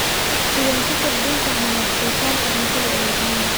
Sideen u kordhin karna wax so saarka cuntada ee Uganda?